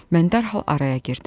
Mən dərhal araya girdim.